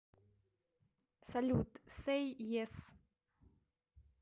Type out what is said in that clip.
салют сэй ес